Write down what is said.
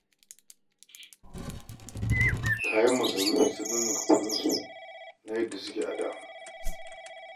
Kayan masarufi sun ninninka kuɗinsu na yadda suke a da